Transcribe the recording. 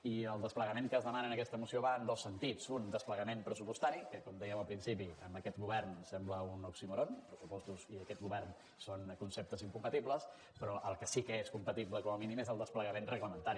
i el desplegament que es demana en aquesta moció va en dos sentits un desplegament pressupostari que com dèiem al principi amb aquest govern sembla un oxímoron pressupostos i aquest govern són conceptes incompatibles però el que sí que és compatible com a mínim és el desplegament reglamentari